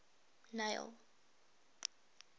neil